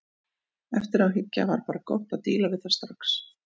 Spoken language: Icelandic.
Eftir á að hyggja var bara gott að díla við það strax.